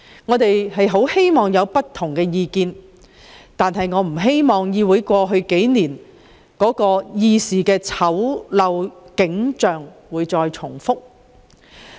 我們樂見有不同意見，但不希望過去數年在議會出現的種種醜陋議事景象重現眼前。